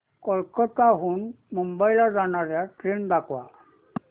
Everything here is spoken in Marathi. कोलकाता हून मुंबई ला जाणार्या ट्रेन दाखवा